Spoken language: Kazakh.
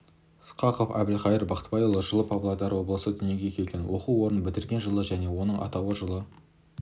сқақов әбілқайыр бақтыбайұлы жылы павлодар облысында дүниеге келген оқу орнын бітірген жылы және оның атауы жылы